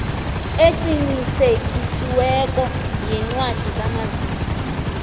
eqinisekisiweko yencwadi kamazisi